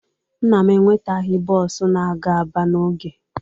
Nna m enwetaghị bọọsụ na-aga Aba n'oge.